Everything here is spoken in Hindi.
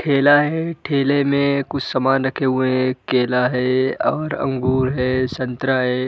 ठेला है। ठेले में कुछ सामान रखे हुए हैंकेला है और अंगूर हैसंतरा है।